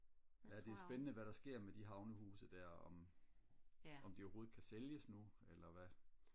ja det er spændende hvad der sker med de havnehuse der om om de overhovedet kan sælges nu eller hvad